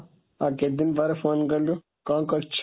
ଆଉ କେତେ ଦିନ ପରେ phone କଲୁ, କ'ଣ କରୁଛୁ?